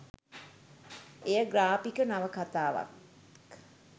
එය ග්‍රාපික නවකථාවක්